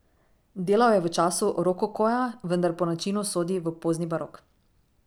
Delal je v času rokokoja, vendar po načinu sodi v pozni barok.